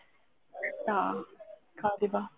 କରିବ